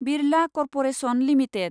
Birla corporation limited